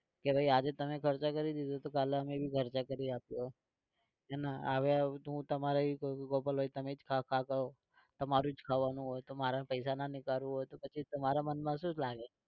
કે ભાઈ આજે તમે ખર્ચો કર દીધો તો કાલે અમે भी ખર્ચો કરી આપીશું એના હવે હું તમારે ગોપાલભાઈ તમે જ ખાવ ખાવ કરો તમારું જ ખાવાનું હોય તો મારે પૈસા ના નીકાળવું હોય તો પછી તમારા મનમાં શું લાગે?